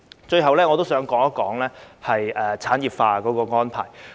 最後，我想談及產業化的安排。